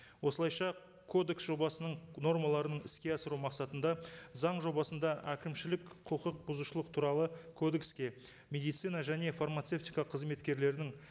осылайша кодекс жобасының нормаларын іске асыру мақсатында заң жобасында әкімшілік құқық бұзушылық туралы кодекске медицина және фармацевтика қызметкерлерінің